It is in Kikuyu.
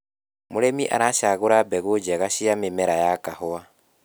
mũrĩmi aracagura mbegũ njega cia mĩmera ya kahũa